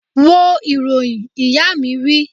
Wo ìròyìn! Ìyá mi wí